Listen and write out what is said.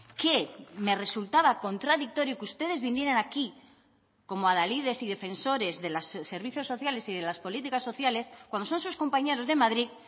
que me resultaba contradictorio que ustedes vinieran aquí como adalides y defensores de los servicios sociales y de las políticas sociales cuando son sus compañeros de madrid